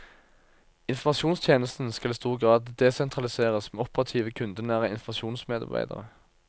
Informasjonstjenesten skal i stor grad desentraliseres med operative kundenære informasjonsmedarbeidere.